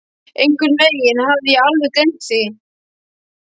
Einhvern veginn hafði ég alveg gleymt því.